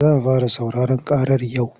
Za a fara sauraron ƙarar yau.